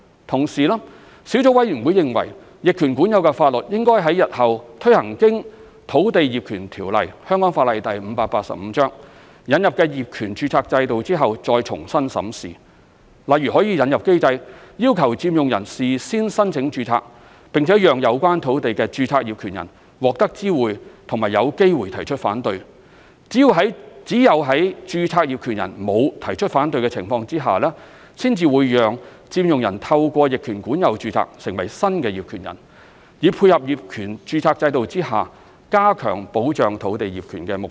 同時，小組委員會認為，逆權管有的法律應在日後推行經《土地業權條例》引入的業權註冊制度後再重新審視，例如可引入機制，要求佔用人事先申請註冊，並讓有關土地的註冊業權人獲得知會及有機會提出反對，只有在註冊業權人沒有提出反對的情況之下，才讓佔用人透過逆權管有註冊成為新業權人，以配合業權註冊制度下加強保障土地業權的目標。